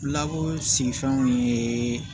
Labu si fɛnw ye